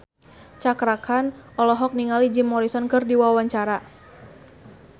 Cakra Khan olohok ningali Jim Morrison keur diwawancara